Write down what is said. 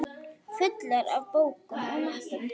Fullar af bókum og möppum.